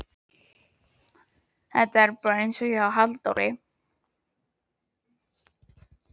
Þetta er bara einsog hjá Halldóri